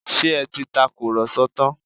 Ṣé ẹ ti tàkùrọ̀sọ tán?